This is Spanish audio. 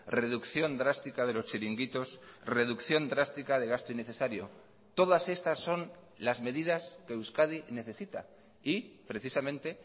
reducción drástica de los chiringuitos reducción drástica de gasto innecesario todas estas son las medidas que euskadi necesita y precisamente